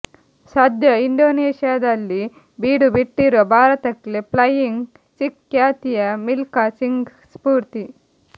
ಸದ್ಯ ಇಂಡೋನೇಶಿಯಾದಲ್ಲಿ ಬೀಡುಬಿಟ್ಟಿರುವ ಭಾರತಕ್ಕೆ ಫ್ಲೆೈಯಿಂಗ್ ಸಿಖ್ ಖ್ಯಾತಿಯ ಮಿಲ್ಕಾ ಸಿಂಗ್ ಸ್ಪೂರ್ತಿ